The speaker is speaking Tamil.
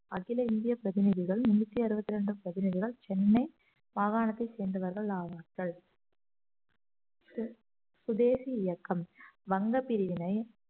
அகில இந்திய பிரதிநிதிகள் முன்னூத்தி அறுபத்தி இரண்டு பிரதிநிதிகள் சென்னை மாகாணத்தை சேர்ந்தவர்கள் ஆவார்கள் சுதேசி இயக்கம் வங்கப் பிரிவினை